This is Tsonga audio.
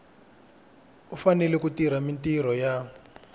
fanele ku tirha mintirho ya